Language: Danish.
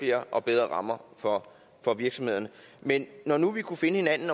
flere og bedre rammer for for virksomhederne men når nu vi kunne finde hinanden